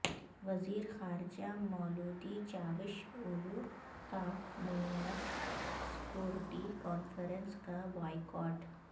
وزیر خارجہ Mevlut Cavusoglu کا میونخ سکورٹی کانفرنس کا بائیکاٹ